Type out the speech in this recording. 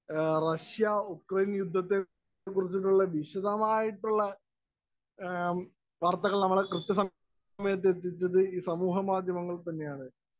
Speaker 1 Russia Ukraine‍ യുദ്ധത്തെക്കുറിച്ചിട്ടുള്ള വിശദമായിട്ടുള്ള വാര്‍ത്തകള്‍ നമ്മെ കൃത്യസമയത്ത് എത്തിച്ചത് ഈ സമൂഹമാധ്യമങ്ങള്‍ തന്നെയാണ്.